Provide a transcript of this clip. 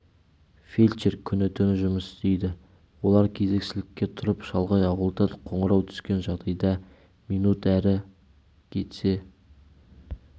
фельдшер күні-түні жұмыс істейді олар кезекшілікке тұрып шалғай ауылдан қоңырау түскен жағдайда минут әрі кетсе